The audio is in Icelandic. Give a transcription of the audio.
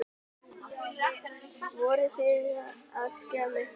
Voruð þið að skemma eitthvað?